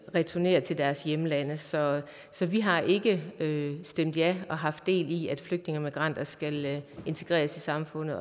returnere til deres hjemlande så så vi har ikke stemt ja og haft del i at flygtninge og migranter skal integreres i samfundet